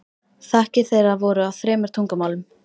Þakkir þeirra voru á þremur tungumálum.